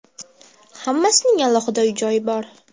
Hammasining alohida uy-joyi bor.